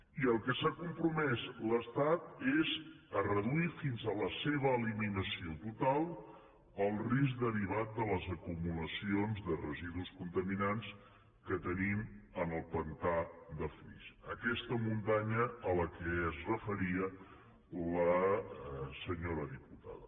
i al que s’ha compromès l’estat és a reduir fins a la seva eliminació total el risc derivat de les acumulacions de residus contaminants que tenim en el pantà de flix aquesta muntanya a què es referia la senyora diputada